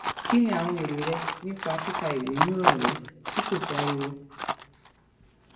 kí ni àwọn èrò rẹ nípa kíka ìwé ní ìrọ̀lẹ́ tí kò sáriwo?